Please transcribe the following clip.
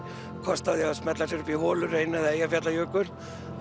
kost á því að smella sér upp í Holuhraun eða Eyjafjallajökul